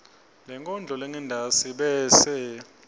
lenkondlo lengentasi bese